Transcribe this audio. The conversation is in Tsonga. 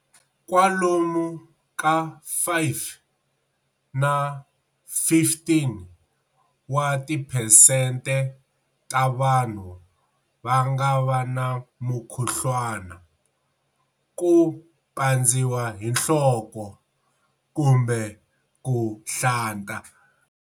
Kwalomu ka 5 na 15 wa tiphesente ta vanhu va nga va na mukhuhlwana, ku pandziwa hi nhloko, kumbe ku nhlanta.